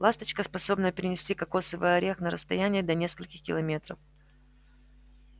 ласточка способна перенести кокосовый орех на рсстояние до нескольких километров